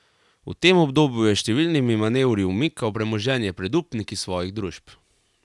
V tem obdobju je s številnimi manevri umikal premoženje pred upniki svojih družb.